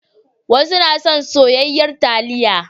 Wasu na son soyayyar taliya.